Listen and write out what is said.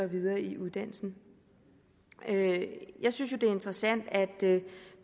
videre i uddannelsen jeg synes jo det er interessant at